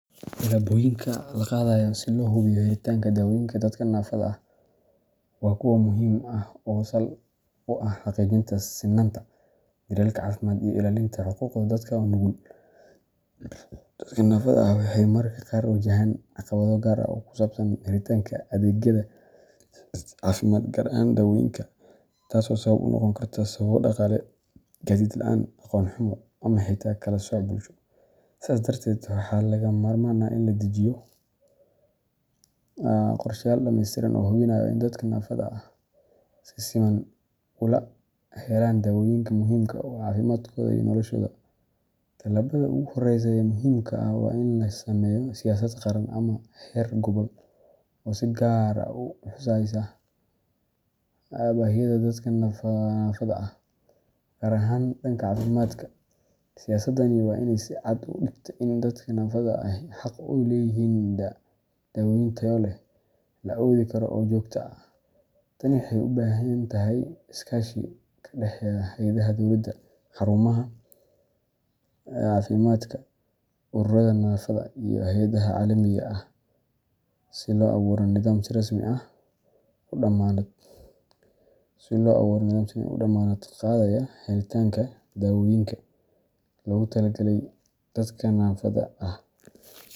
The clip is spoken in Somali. Tallaabooyinka la qaadayo si loo hubiyo helitaanka dawooyinka dadka naafada ah waa kuwo muhiim ah oo sal u ah xaqiijinta sinnaanta daryeelka caafimaad iyo ilaalinta xuquuqda dadka nugul. Dadka naafada ah waxay mararka qaar wajahaan caqabado gaar ah oo ku saabsan helitaanka adeegyada caafimaad, gaar ahaan dawooyinka, taas oo sabab u noqon karta sababo dhaqaale, gaadiid la'aan, aqoon xumo, ama xitaa kala sooc bulsho. Sidaas darteed, waxaa lagama maarmaan ah in la dejiyo qorshayaal dhammaystiran oo hubinaya in dadka naafada ahi si siman ula helaan dawooyinka muhiimka u ah caafimaadkooda iyo noloshooda. Tallaabada ugu horreysa ee muhiimka ah waa in la sameeyo siyaasad qaran ama heer gobol oo si gaar ah u xusaysa baahiyaha dadka naafada ah, gaar ahaan dhanka caafimaadka. Siyaasadani waa inay si cad u dhigtaa in dadka naafada ahi xaq u leeyihiin dawooyin tayo leh, la awoodi karo, oo joogto ah. Tani waxay u baahan tahay iskaashi ka dhaxeeya hay'adaha dowladda, xarumaha caafimaadka, ururada naafada, iyo hay’adaha caalamiga ah si loo abuuro nidaam si rasmi ah u dammaanad qaadaya helitaanka dawooyinka loogu talagalay dadka naafada ah.